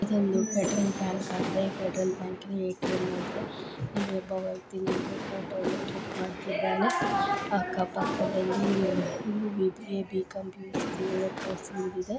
ಇದೊಂದು petrol bunk ಆಗಿದೆ petrol bunk ATM ಎಲ್ಲಿ ಒಬ್ಬ ವ್ಯಕ್ತಿ ನಿತ್ತು ಫೋಟೋ ಕಿನ್ಲ್ಕ್ ಮಾಡಿಕೊಂಡಿದ್ದಾನೆ ಆಕ್ಕ ಪಕ್ಕದಲ್ಲಿ B A B com BCA course ಇದೆ